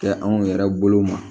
Kɛ anw yɛrɛ bolo ma